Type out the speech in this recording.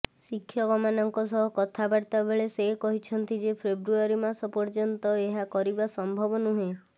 ଶିକ୍ଷକମାନଙ୍କ ସହ କଥାବାର୍ତ୍ତା ବେଳେ ସେ କହିଛନ୍ତି ଯେ ଫେବୃଆରୀ ମାସ ପର୍ଯ୍ୟନ୍ତ ଏହା କରିବା ସମ୍ଭବ ନୁହେଁ